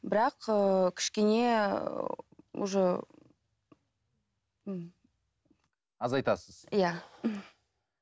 бірақ ыыы кішкене уже ммм азайтасыз иә